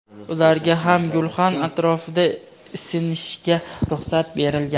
ularga ham gulxan atrofida isinishga ruxsat berilgan.